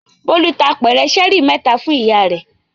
Bólú ta apẹ̀rẹ̀ ṣẹ́ẹ́rì mẹ́ta fún ìyá rẹ̀.